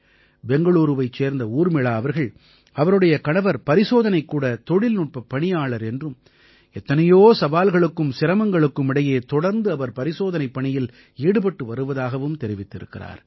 பெங்களூரூவைச் சேர்ந்த ஊர்மிளா அவர்கள் அவருடைய கணவர் பரிசோதனைக்கூட தொழில்நுட்பப் பணியாளர் என்றும் எத்தனையோ சவால்களுக்கும் சிரமங்களுக்கும் இடையே தொடர்ந்து அவர் பரிசோதனைப் பணியில் ஈடுபட்டு வருவதாகவும் தெரிவித்திருக்கிறார்